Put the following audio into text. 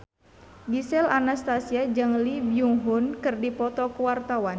Gisel Anastasia jeung Lee Byung Hun keur dipoto ku wartawan